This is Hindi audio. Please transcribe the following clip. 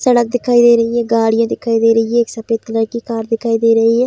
सड़क दिखाई दे रही है गाड़ियाँ दिखाई दे रही हैं एक सफ़ेद कलर की कार दिखाई दे रही है ।